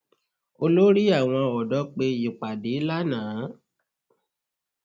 Olórí àwọn ọ̀dọ́ pé ìpàdé lánàá